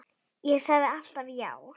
Ég sagði alltaf já.